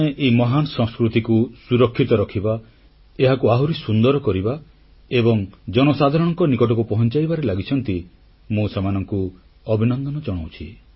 ଯେଉଁମାନେ ଏହି ମହାନ ସଂସ୍କୃତିକୁ ସୁରକ୍ଷିତ ରଖିବା ଏହାକୁ ଆହୁରି ସୁନ୍ଦର କରିବା ଏବଂ ଜନସାଧାରଣଙ୍କ ନିକଟକୁ ପହଂଚାଇବାରେ ଲାଗିଛନ୍ତି ମୁଁ ସେମାନଙ୍କୁ ଅଭିନନ୍ଦନ ଜଣାଉଛି